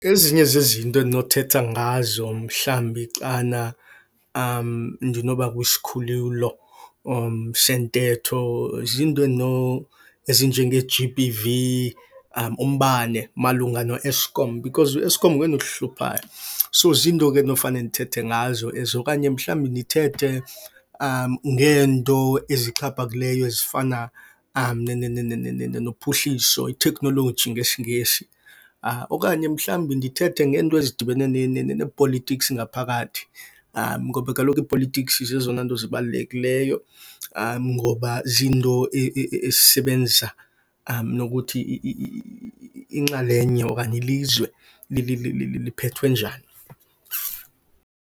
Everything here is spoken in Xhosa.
Ezinye zezinto endinothetha ngazo mhlambi xana ndinoba kwisikhululo sentetho ziinto ezinjengeG_B_V, umbane malunga noEskom because uEskom ngoyena uhluphayo. So ziinto ke endinofane ndithethe ngazo ezo. Okanye mhlambi ndithethe ngeento ezixhaphakileyo ezifana nophuhliso, i-technolgy ngesiNgesi. Okanye mhlambi ndithethe ngeento ezidibene nee-politics ngaphakathi, ngoba kaloku ii-politics zezona nto zibalulekileyo ngoba ziinto esisebenza nokuthi inxalenye okanye ilizwe liphethwe njani.